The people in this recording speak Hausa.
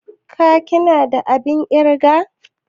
ka/ ki na da abin kirga?